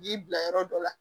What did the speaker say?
Ji bila yɔrɔ dɔ la